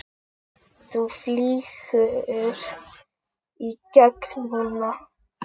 Þú flýgur í gegn núna!